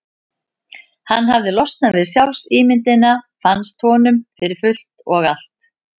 Hann hafði losnað við sjálfsímyndina, fannst honum, fyrir fullt og allt.